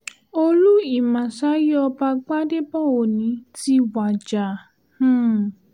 olú ìmásáyí ọba gbadẹbọ òní ti wájà um